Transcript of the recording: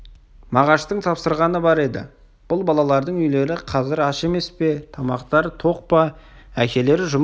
мағаштың тапсырғаны бар еді бұл балалардың үйлері қазір аш емес пе тамақтары тоқ па әкелері жұмыс